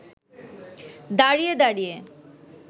দাঁড়িয়ে দাঁড়িয়ে